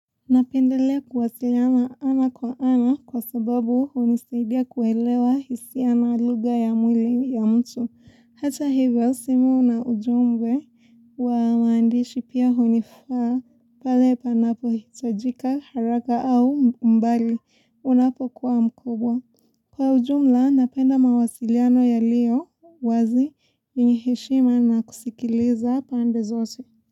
Napendelea kuwasiliana ana kwa ana kwa sababu hunisaidia kuelewa hisi na lugha ya mwili ya mtu. Hata hivyo, simu na ujumbe wa maandishi pia hunifaa pale panapo hitajika haraka au mbali unapokuwa mkubwa. Kwa ujumla, napenda mawasiliano yaliyo wazi yenye heshima na kusikiliza pande zote.